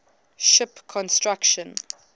ship construction